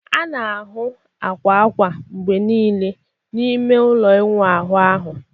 a na-ahụ akwa akwa akwa mgbe niile n'ime ime ụlọ ịwụ ahụ